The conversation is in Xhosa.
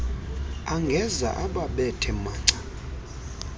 angeza ababethe manca